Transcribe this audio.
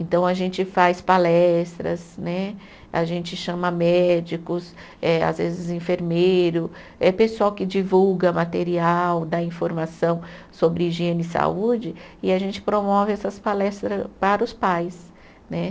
Então a gente faz palestras né, a gente chama médicos, eh às vezes enfermeiro, é pessoal que divulga material, dá informação sobre higiene e saúde e a gente promove essas palestras para os pais né.